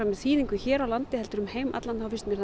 með þýðingu hér á landi heldur um heim allan þá finnst mér